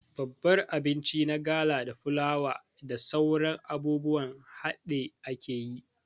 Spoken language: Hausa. Babbar abinci na gala da fulawa da sauran abubuwan haɗi akeyi